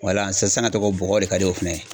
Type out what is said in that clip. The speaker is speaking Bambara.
Wala sisan tɔgɔ bɔgɔ de ka di o fana ye.